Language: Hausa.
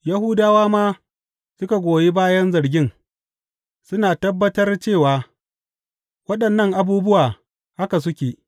Yahudawa ma suka goyi bayan zargin, suna tabbatar cewa waɗannan abubuwa haka suke.